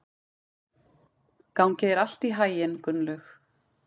Gangi þér allt í haginn, Gunnlaug.